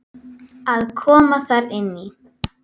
Að koma þarna inn í?